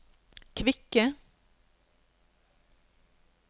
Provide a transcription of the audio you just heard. kvikke